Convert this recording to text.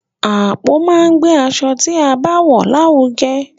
Àpò máa n gbe aṣọ ti a bá wọn larugẹ.